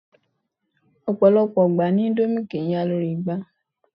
Ọ̀pọ̀lọpọ̀ ìgbà ni indomie kìí ya lórí igba